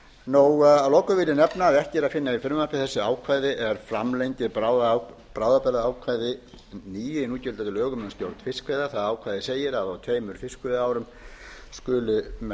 þessar heimildir að lokum vil ég nefna að ekki er að finna í frumvarpi þessu ákvæði er framlengi bráðabirgðaákvæði níu í núgildandi lögum um stjórn fiskveiða það ákvæði segir að á tveimur fiskveiðiárum tvö